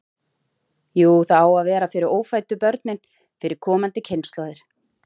Jú, það á að vera fyrir ófæddu börnin, fyrir komandi kynslóðir.